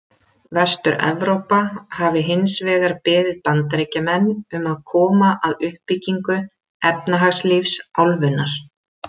Vestur-Evrópa hafi hins vegar beðið Bandaríkjamenn um að koma að uppbyggingu efnahagslífs álfunnar.